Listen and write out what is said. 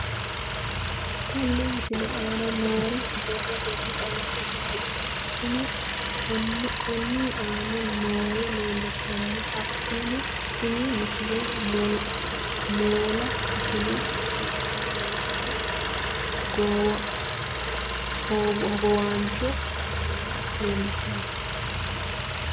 Tenne misile aana noore borrotenni xawisummoha ikirro kunni aane noore leelishano. Hakunno tinni misile moola ishine hunaanoha hogowaancho kameella leelishshanno.